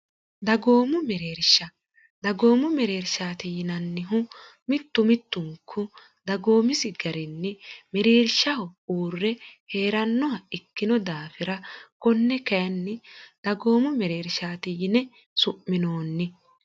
dagoomu mereersha dagoomu mereershaati yinannihu mittu mittunku dagoomisi garinni mereershaho uurre hee'rannoha ikkino daafira konne kainni dagoomu mereershaati yine su'minoonni